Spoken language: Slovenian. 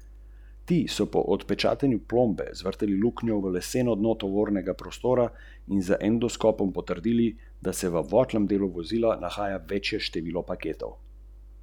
Z devetimi goli sta se izkazala domačin Anže Dobovičnik in gostujoči igralec Aleks Kavčič.